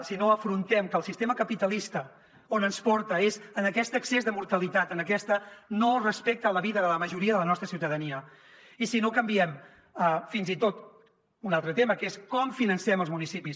si no afrontem que el sistema capitalista on ens porta és a aquest excés de mortalitat a aquest no respecte a la vida de la majoria de la nostra ciutadania i si no canviem fins i tot un altre tema que és com financem els municipis